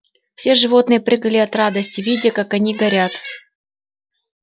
все животные прыгали от радости видя как они горят